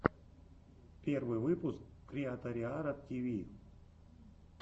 первый выпуск криаториара тиви